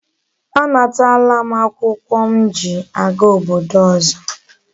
A natala m akwukwo m ji aga obodo ozo